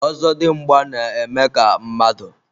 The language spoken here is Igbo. ozodimgba na-eme ka mmadụ